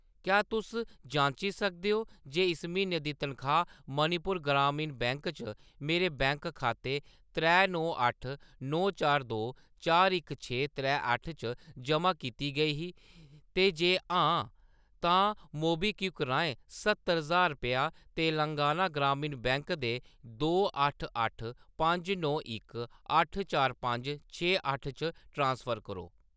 क्या तुस जांची सकदे ओ, जे इस म्हीने दी तनखाह्‌‌ मणिपुर ग्रामीण बैंक च मेरे बैंक खाते त्रै नौ अट्ठ नौ चार दो चार इक छे त्रै अट्ठ च जमा कीती गेई ही, ते जे हां, तां मोबीक्विक राहें स्हत्तर ज्हार रपेआ तेलंगाना ग्रामीण बैंक दे दो अट्ठ अट्ठ पंज नौ इक अट्ठ चार पंज छे अट्ठ च ट्रांसफर करो ।